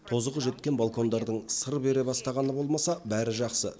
тозығы жеткен балкондардың сыр бере бастағаны болмаса бәрі жақсы